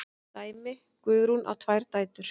Dæmi: Guðrún á tvær dætur.